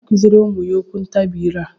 onye na-akụziri ụmụ ya okwuntabi ire a?